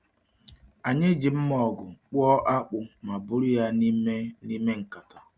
Anyị ji mma ọgụ kpụọ akpụ ma buru ya n’ime n’ime nkata.